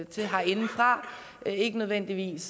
til herindefra ikke nødvendigvis